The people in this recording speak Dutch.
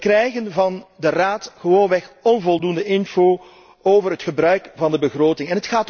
Wij krijgen van de Raad gewoonweg onvoldoende info over het gebruik van de begroting.